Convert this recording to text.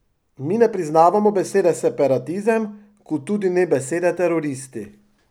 Mi ne priznavamo besede separatizem, kot tudi ne besede teroristi.